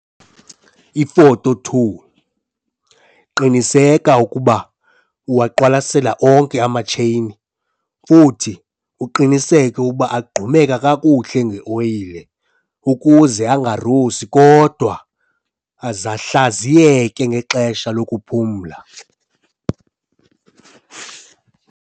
Ifoto 2- Qiniseka ukuba uwaqwalasela onke amatsheyini futhi uqiniseke ukuba agqumeka kakuhle ngeoyile ukuze angarusi kodwa ahlaziyeke ngexesha lokuphumla.